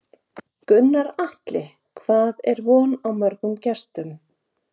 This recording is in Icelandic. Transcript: Gunnar Atli, hvað er von á mörgum gestum?